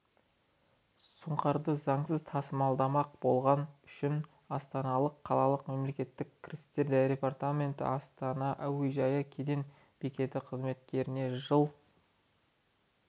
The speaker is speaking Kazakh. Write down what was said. сұңқарды заңсыз тасымалдамақ болғаны үшін астана қалалық мемлекеттік кірістер департаменті астана әуежай кеден бекеті қызметкеріне жыл